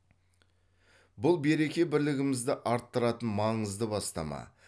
бұл береке бірлігімізді арттыратын маңызды бастама